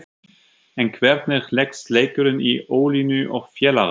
En hvernig leggst leikurinn í Ólínu og félaga?